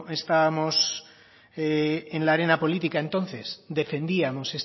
estábamos en la arena política entonces defendíamos